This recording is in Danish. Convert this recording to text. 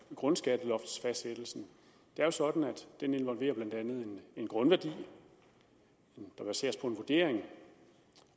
grundskatteloftsfastsættelsen det er jo sådan at den involverer blandt andet en grundværdi der baseres på en vurdering